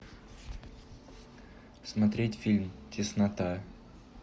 смотреть фильм теснота